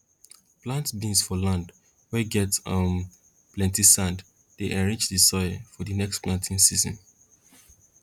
plant beans for land weh get um plenti sand dey enrich di soil for for di next planting season